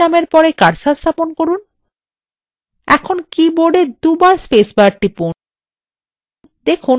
manish নামের press cursor স্থাপন করুন এখন keyboardএ দুইবার spacebar টিপুন